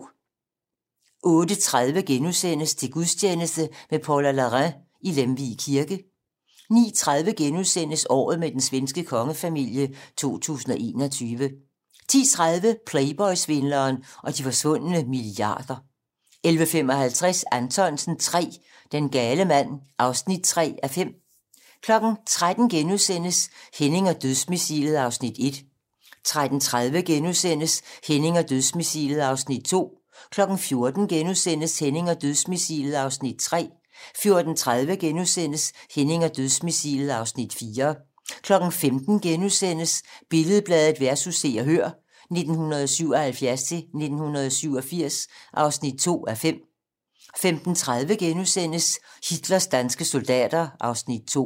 08:30: Til gudstjeneste med Paula Larrain i Lemvig Kirke * 09:30: Året med den svenske kongefamilie 2021 * 10:30: Playboy-svindleren og de forsvunde milliarder 11:55: Anthonsen III - Den gale mand (3:5) 13:00: Henning og dødsmissilet (Afs. 1)* 13:30: Henning og dødsmissilet (Afs. 2)* 14:00: Henning og dødsmissilet (Afs. 3)* 14:30: Henning og dødsmissilet (Afs. 4)* 15:00: Billed-Bladet vs. Se og Hør (1977-1987) (2:5)* 15:30: Hitlers danske soldater (Afs. 2)*